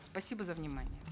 спасибо за внимание